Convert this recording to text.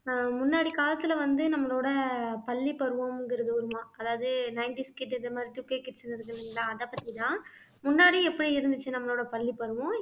ஆஹ் முன்னாடி காலத்துல வந்து நம்மளோட பள்ளிப்பருவங்கிறது ஒரு மா அதாவது nineties kid இந்த மாதிரி two K kids அதைப் பத்திதான் முன்னாடி எப்படி இருந்துச்சு நம்மளோட பள்ளிப்பருவம்